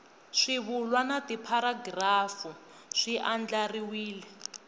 swivulwa na tipharagirafu swi andlariwile